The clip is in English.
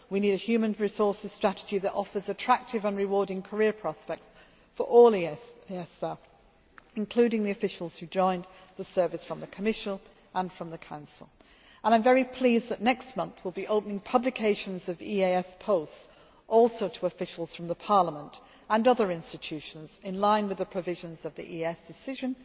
I agree. We need a human resources strategy that offers attractive and rewarding career prospects for all EEAS staff, including the officials who joined the service from the Commission and the Council. I am very pleased that next month we will be opening publications of EEAS posts also to officials from Parliament and other institutions, in line with the provisions of the EEAS